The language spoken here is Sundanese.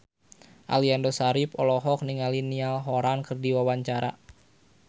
Aliando Syarif olohok ningali Niall Horran keur diwawancara